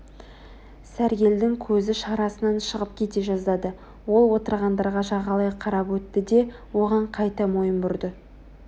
сәргелдің көзі шарасынан шығып кете жаздады ол отырғандарға жағалай қарап өтті де оған қайта мойын бұрды